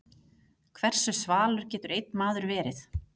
Hversu svalur getur einn maður verið?